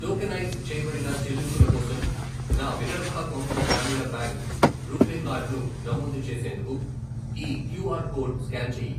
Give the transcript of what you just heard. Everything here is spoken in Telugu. టోకెనైజ్ చేయబడిన చెల్లింపుల కోసం నా విదర్భ కొంకణ గ్రామీణ బ్యాంక్ రూపే కార్డు ను నమోదు చేసేందుకు ఈ క్యూఆర్ కోడ్ స్కాన్ చేయి.